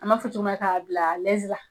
An m'a fɔ cogo min na ka bila la